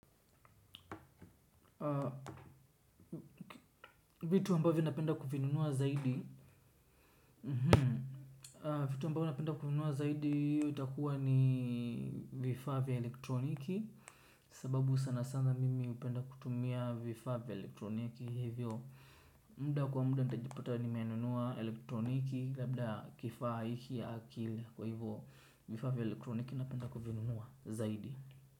Vitu ambavyo napenda kuvinunua zaidi. Vitu ambavyo napenda kununua zaidi. Itakuwa ni vifaa vya elektroniki. Sababu sana sana mimi upenda kutumia vifaa vya elektroniki. Hevyo mda kwa mda mtajipota ni manunua elektroniki. Labda kifaa iki ya kile kwa hivyo vifa vya elektroniki napenda kufinunua zaidi.